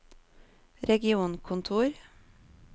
regionkontor